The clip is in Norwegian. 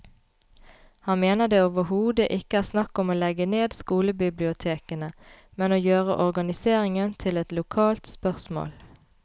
Han mener det overhodet ikke er snakk om å legge ned skolebibliotekene, men å gjøre organiseringen til et lokalt spørsmål.